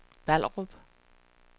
Ballerup